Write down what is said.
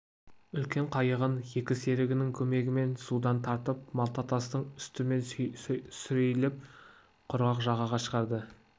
үлкен қайығын екі серігінің көмегімен судан тартып малта тастың үстімен сүйрелеп құрғақ жағаға шығарды